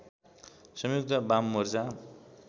संयुक्त बाम मोर्चा